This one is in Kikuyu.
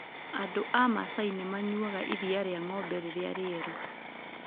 Andũ a Masai nĩ manyuaga iria rĩa ng'ombe rĩrĩa rĩerũ.